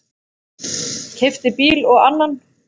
Keypti bíl og annan.